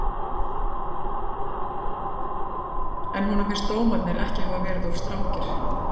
En finnst honum dómarnir ekki hafa verið of strangir?